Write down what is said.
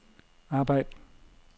arbejd